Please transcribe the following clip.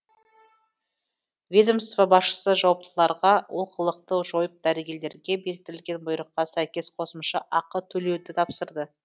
ведомство басшысы жауаптыларға олқылықты жойып дәрігерлерге бекітілген бұйрыққа сәйкес қосымша ақы төлеуді тапсырды